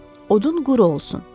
Amma odun quru olsun.